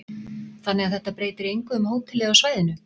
Þannig að þetta breytir engu um hótelið á svæðinu?